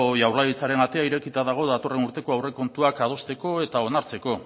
jaurlaritzaren atea irekita dago datorren urteko aurrekontuak adosteko eta onartzeko